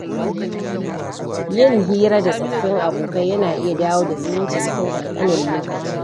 Yin hira da tsofaffin abokai yana iya dawo da zumunci cikin ƙanƙanin lokaci.